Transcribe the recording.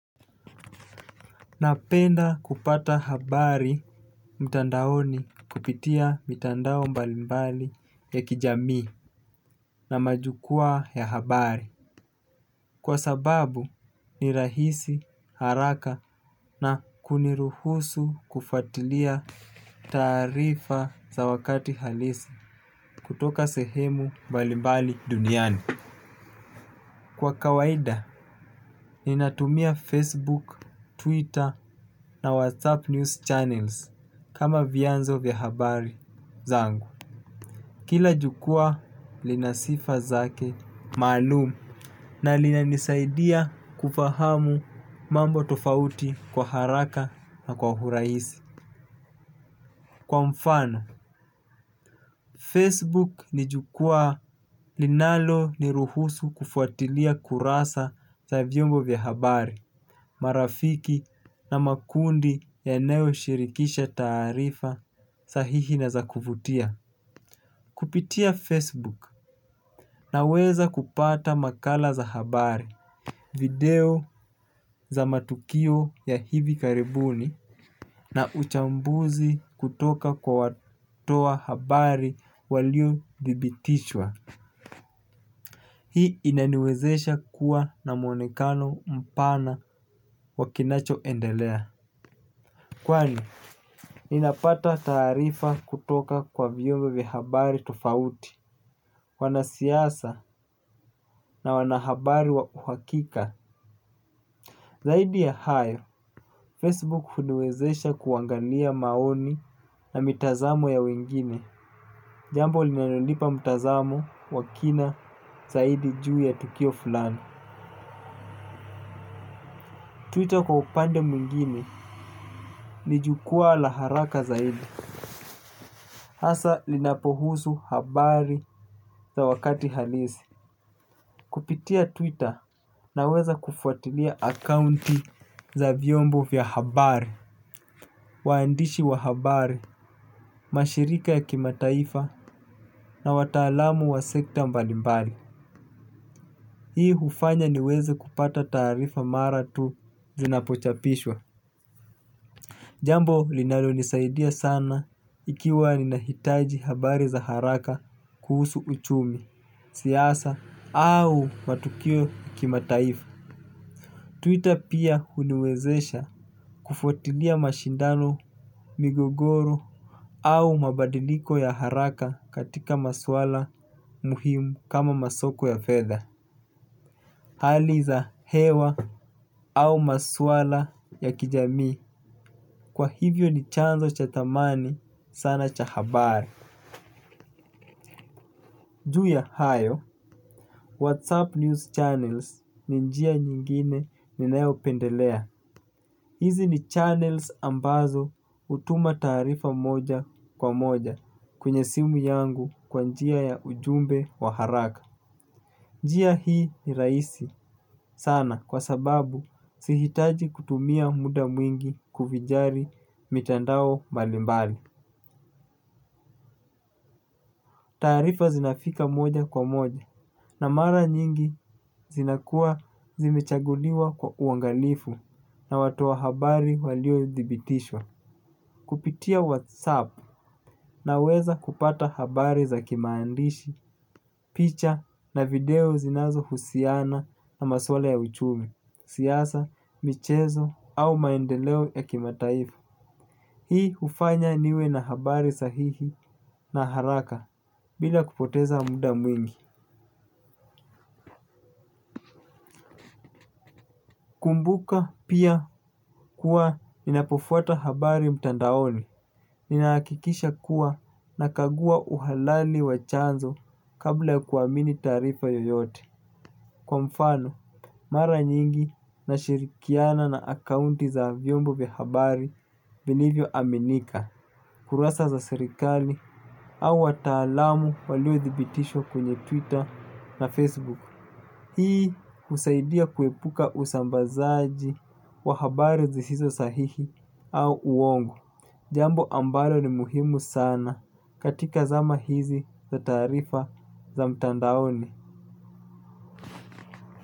Napenda kupata habari mtandaoni kupitia mitandao mbalimbali ya kijamii na majukwaa ya habari. Kwa sababu ni rahisi haraka na kuniruhusu kufuatilia taarifa za wakati halisi kutoka sehemu mbalimbali duniani. Kwa kawaida, ninatumia Facebook, Twitter na WhatsApp news channels kama vyanzo vya habari zangu. Kila jukwaa lina sifa zake maalum na linanisaidia kufahamu mambo tofauti kwa haraka na kwa urahisi. Kwa mfano, Facebook ni jukwaa linaloniruhusu kufuatilia kurasa za vyombo vya habari. Marafiki na makundi yanayoshirikisha taarifa sahihi na za kuvutia Kupitia Facebook naweza kupata makala za habari, video za matukio ya hivi karibuni na uchambuzi kutoka kwa watu wa habari waliothibitishwa. Hii inaniwezesha kuwa na mwonekano mpana wa kinachoendelea. Kwani, ninapata taarifa kutoka kwa vyombo vya habari tofauti, wanasiasa na wanahabari wauhakika. Zaidi ya hayo, Facebook huniwezesha kuangalia maoni na mitazamo ya wengine. Jambo linalonipa mtazamo wa kina zaidi juu ya tukio fulani. Twitter kwa upande mwingine, ni jukwaa la haraka zaidi. Hasa linapohusu habari za wakati halisi Kupitia Twitter naweza kufuatilia akaunti za vyombo vya habari. Waandishi wa habari, mashirika ya kimataifa na wataalamu wa sekta mbalimbali hii hufanya niweze kupata taarifa mara tu zinapochapishwa. Jambo linalonisaidia sana ikiwa ninahitaji habari za haraka kuhusu uchumi, siasa au matukio kimataifu. Twitter pia huniwezesha kufuatilia mashindano, migogoro au mabadiliko ya haraka katika maswala muhimu kama masoko ya fedha, hali za hewa au maswala ya kijamii. Kwa hivyo ni chanzo cha thamani sana cha habari. Ju ya hayo Whatsapp News Channels ni njia nyingine ninayopendelea. Hizi ni channels ambazo hutuma taarifa moja kwa moja kwenye simu yangu kwa njia ya ujumbe wa haraka. Njia hii ni rahisi sana kwa sababu sihitaji kutumia muda mwingi kuvinjari mitandao mbalimbali. Tarifa zinafika moja kwa moja. Na mara nyingi zinakuwa zimechaguliwa kwa uangalifu na watu wa habari waliothibitishwa. Kupitia Whatsapp naweza kupata habari za kimaandishi, picha na video zinazohusiana na maswala ya uchumi, siasa, michezo au maendeleo ya kimataifa. Hii hufanya niwe na habari sahihi na haraka bila kupoteza muda mwingi. Kumbuka pia kuwa ninapofuata habari mtandaoni, ninahakikisha kuwa nakagua uhalali wa chanzo kabla ya kuamini taarifa yoyote. Kwa mfano, mara nyingi nashirikiana na akaunti za vyombo vya habari vinavyoaminika, kurasa za serikali au wataalamu waliothibitishwa kwenye Twitter na Facebook. Hii husaidia kuepuka usambazaji wa habari zisizo sahihi au uongo. Jambo ambalo ni muhimu sana katika zama hizi za taarifa za mtandaoni.